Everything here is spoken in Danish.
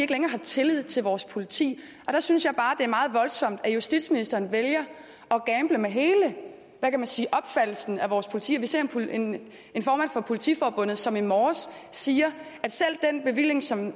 længere har tillid til vores politi og der synes jeg bare det er meget voldsomt at justitsministeren vælger at gamble med hele opfattelsen af vores politi vi ser en formand for politiforbundet som i morges siger at selv den bevilling som